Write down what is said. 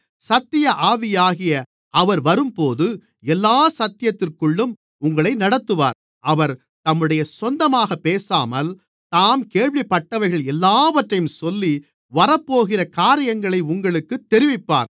சத்திய ஆவியாகிய அவர் வரும்போது எல்லா சத்தியத்திற்குள்ளும் உங்களை நடத்துவார் அவர் தம்முடைய சொந்தமாக பேசாமல் தாம் கேள்விப்பட்டவைகள் எல்லாவற்றையும் சொல்லி வரப்போகிற காரியங்களை உங்களுக்குத் தெரிவிப்பார்